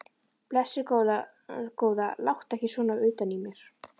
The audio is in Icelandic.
Blessuð góða, láttu ekki svona utan í mér.